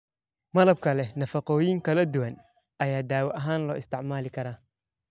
Malabka leh nafaqooyin kala duwan ayaa daawo ahaan loo isticmaali karaa.